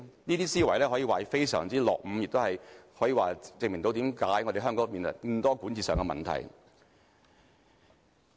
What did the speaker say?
這些思維可以說是非常落伍，亦可證明為何香港有這麼多管治問題。